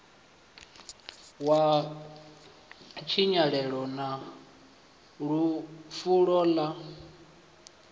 ya tshinyalelo na fulo ḽa